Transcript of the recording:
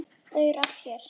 Þau eru öll hér.